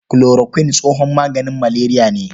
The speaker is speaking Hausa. Kulorokuin tsohon maganin maleriya ne.